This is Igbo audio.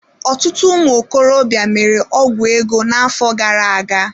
Ọtụtụ ụmụ okorobịa mere ọgwụ ego n'afọ gara aga